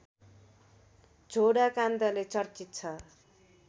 झोडा काण्डले चर्चित छ